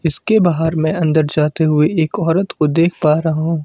इसके बाहर मैं अंदर जाते हुए एक औरत को देख पा रहा हूं।